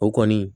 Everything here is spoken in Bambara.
O kɔni